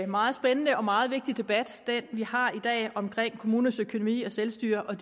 meget spændende og meget vigtig debat vi har i dag om kommunernes økonomi og selvstyre og